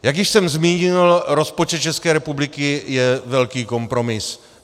Jak již jsem zmínil, rozpočet České republiky je velký kompromis.